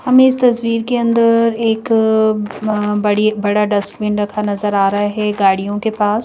हमें इस तस्वीर के अंदर एक बड़ी बड़ा डस्टबीन रखा नजर आ रहा है गाड़ियों के पास--